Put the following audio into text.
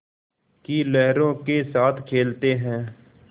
की लहरों के साथ खेलते हैं